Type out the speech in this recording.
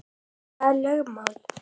Hvað eru lögmál?